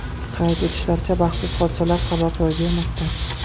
Qayd etishlaricha, baxtsiz hodisalar sabab ro‘y bermoqda.